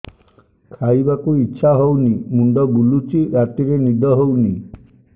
ଖାଇବାକୁ ଇଛା ହଉନି ମୁଣ୍ଡ ବୁଲୁଚି ରାତିରେ ନିଦ ହଉନି